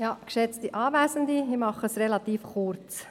Ich mache es relativ kurz.